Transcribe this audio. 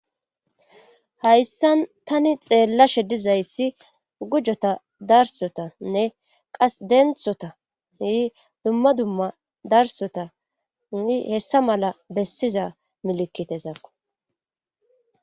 Hayssan tani xeellashe dizayssi gujota darsotanne qas denthota ii dumma dumma darsota i hessa mala bessiza milikitezakko